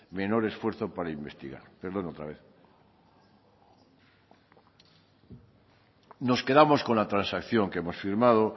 menor esfuerzo para investigar nos quedamos con la transacción que hemos firmado